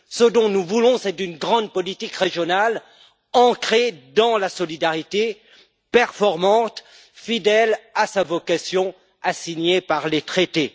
Ce que nous voulons, c'est une grande politique régionale ancrée dans la solidarité, performante, fidèle à sa vocation assignée par les traités.